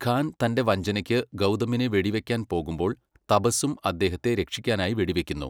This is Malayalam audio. ഖാൻ തൻ്റെ വഞ്ചനയ്ക്ക് ഗൗതമിനെ വെടിവയ്ക്കാൻ പോകുമ്പോൾ തബസ്സും അദേഹത്തെ രക്ഷിക്കാനായി വെടിവയ്ക്കുന്നു.